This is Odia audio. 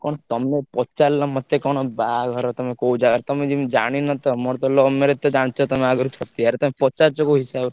କଣ ତମେ ପ ଚାରିଲ ମତେ ବାହାଘର କୋଉ ଜାଗାରେ ତମେ ଯେମିତି ଜାଣିନ ତ ମୋର ତ love marriage ତ ଜାଣିଛ ତମେ ଆଗରୁ ଛତିଆ ରେ ତମେ ପଚାରୁଛ କୋଉ ହିସାବରେ?